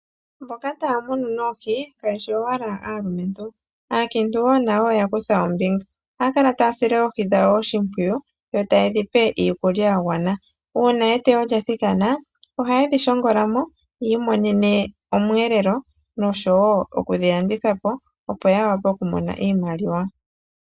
Mboka taa munu noohi, kaye shi owala aalumentu. Aakiintu wo nayo oya kutha ombinga. Ohaya kala taya sile oohi dhawo oshimpwiyu, yo taye dhi pe iikulya ya gwana. Uuna eteyo lya thikana. Ohaye dhi shongola mo, yi imonene omweelelo, nosho wo oku dhi landitha po, opo ya wape okumona iimaliwa.